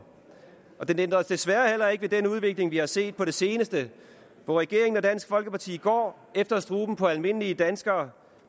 og det ændrer desværre heller ikke ved den udvikling vi har set på det seneste hvor regeringen og dansk folkeparti går efter struben på almindelige danskere